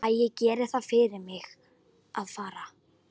Æ, gerið það fyrir mig að fara.